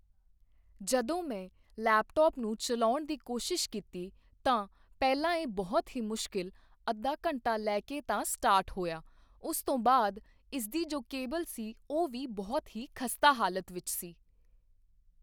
ਜਦੋਂ ਮੈਂ ਲੈਪਟੋਪ ਨੂੰ ਚਲਾਉਣ ਦੀ ਕੋਸ਼ਿਸ਼ ਕੀਤੀ ਤਾਂ ਪਹਿਲਾਂ ਇਹ ਬਹੁਤ ਹੀ ਮੁਸ਼ਕਿਲ ਅੱਧਾ ਘੰਟਾ ਲੈ ਕੇ ਤਾਂ ਤਾਂ ਇਹ ਸਟਾਰਟ ਹੋਇਆ ਉਸ ਤੋਂ ਬਾਅਦ ਇਸਦੀ ਜੋ ਕੇਬਲ ਸੀ ਉਹ ਵੀ ਬਹੁਤ ਹੀ ਖਸਤਾ ਹਾਲਤ ਵਿੱਚ ਸੀ।